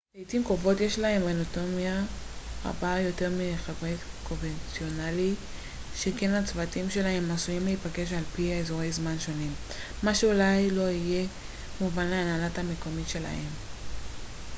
לעיתים קרובות יש להם אוטונומיה רבה יותר מלחברי צוות קונבנציונלי שכן הצוותים שלהם עשויים להיפגש על פי אזורי זמן שונים מה שאולי לא יהיה מובן להנהלה המקומית שלהם